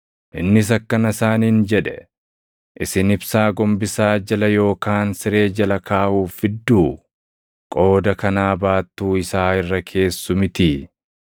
Innis akkana isaaniin jedhe; “Isin ibsaa gombisaa jala yookaan siree jala kaaʼuuf fidduu? Qooda kanaa baattuu isaa irra keessu mitii?